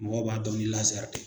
Mɔgɔw b'a dɔn ni de